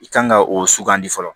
I kan ka o sugandi fɔlɔ